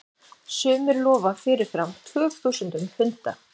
Sumir lofa fyrirfram tugþúsundum punda.